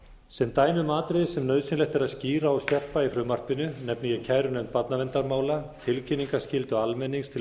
sem dæmi um atriði sem nauðsynlegt er að skýra og skerpa í frumvarpinu nefni ég kærunefnd barnaverndarmála tilkynningarskyldu almennings til